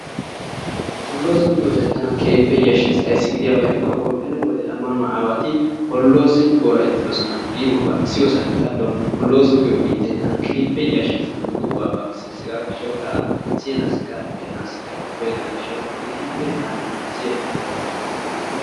Hollozo giyoosay tana keehi Tiransporttiyaanne kaamiya ha asati cadiidi de'iyo koyro tokketidaagee de'iyo koyro go'iya gididi keehippe siyennan ixxiyaako lo'ees.